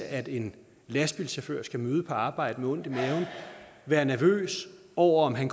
at en lastbilchauffør skal møde på arbejde med ondt i maven og være nervøs over om han